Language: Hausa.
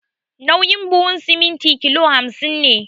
Nauyin buhun siminti kilo hamsin ne